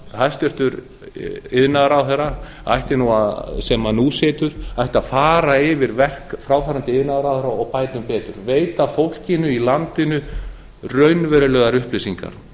hæstvirtur iðnaðarráðherra sem nú situr ætti að fara yfir verk fráfarandi iðnaðarráðherra og bæta um betur veita fólkinu í landinu raunverulegar upplýsingar